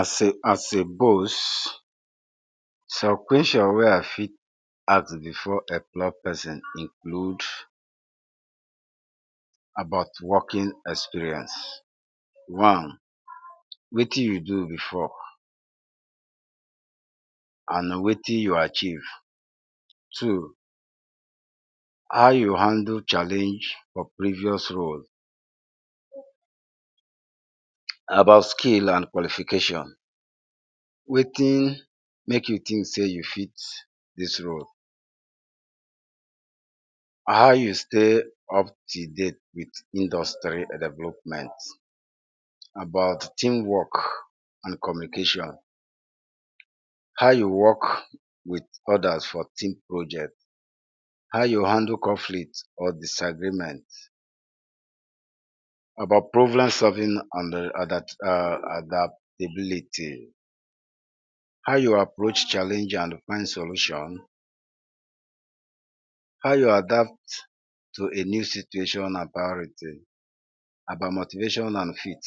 As a as a boss, some question wey I fit ask before employ person include; about working experience. One, wetin you do before and wetin you achieve. Two, how you handle challenge for previous role. About skill and qualifications, wetin make you think sey you fit dis role. How you stay up till date wit industry development. About team work and communication, how you work wit others for team project. How you handle conflict or disagreement, about problem solving and? adaptability, how you approach challenge and find solution, how you adapt to a new situation and priority. About motivation and fit.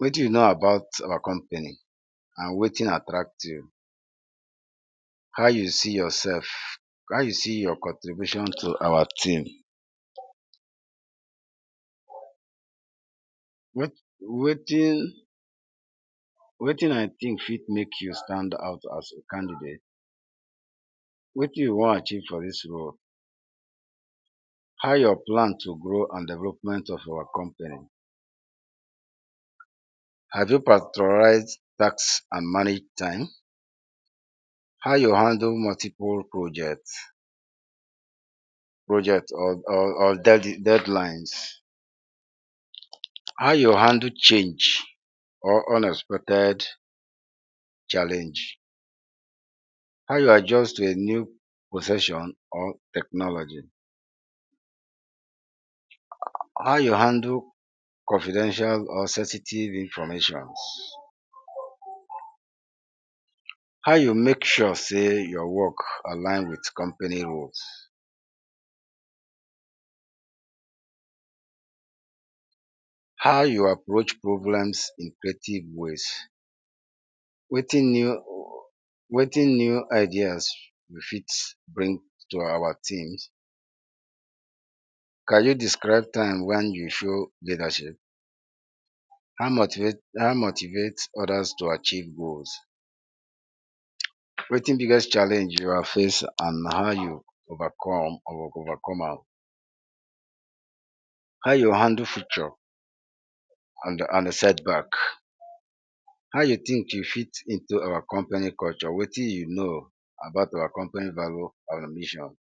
Wetin you know about our company and wetin attract you. How you see yourself, how you see your contribution to our team. Wetin I think fit make you stand out as a candidate. Wetin you wan achieve for dis role. How your plan to grow and development of our company. Have you? practicalize task and manage time. How you handle multiple project, project or? deadlines. How you handle change or unexpected challenge. How you adjust to a new profession or technology. How you handle confidential or sensitive informations. How you make sure sey your work align wit company rules. How you approach problems in creative ways? Wetin new wetin new ideas you fit bring to our teams. Can you describe time wen you show leadership? How much you get, how much you get others to achieve goals. Wetin biggest challenge you have face and how you overcome or overcome am. How you handle future and? setback. How you think you fit into our company culture, wetin you know about our company value and mission.